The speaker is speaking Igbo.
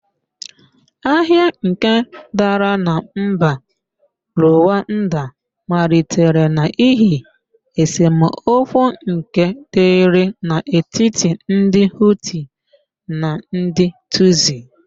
Agha nke dara na mba Ruwanda malitere n'ihi esemokwu nke dịrị n'etiti ndị Hutu na ndì Tusi.